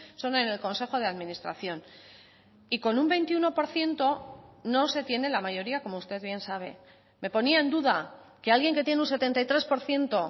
son en el consejo de administración y con un veintiuno por ciento no se tiene la mayoría como usted bien sabe me ponía en duda que alguien que tiene un setenta y tres por ciento